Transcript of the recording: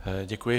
Děkuji.